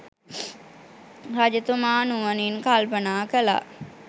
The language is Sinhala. රජතුමා නුවණින් කල්පනා කළා.